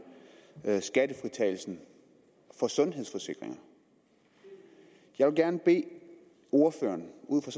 skattefritagelsen på sundhedsforsikringer jeg vil gerne bede ordføreren ud fra